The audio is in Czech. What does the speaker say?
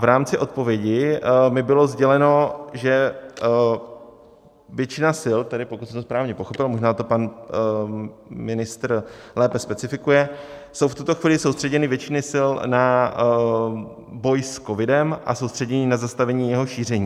V rámci odpovědi mi bylo sděleno, že většina sil, tedy pokud jsem to správně pochopil, možná to pan ministr lépe specifikuje, jsou v tuto chvíli soustředěny většiny sil na boj s covidem a soustředěny na zastavení jeho šíření.